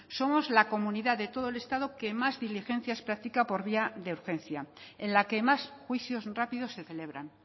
somos la comunidad de todo el estado que más diligencias práctica por vía de urgencia en la que más juicios rápidos se celebran